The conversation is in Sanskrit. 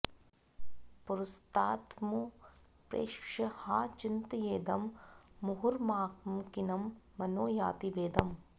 पुरस्तादमुं प्रेक्ष्य हा चिन्तयेदं मुहुर्मामकीनं मनो याति भेदम्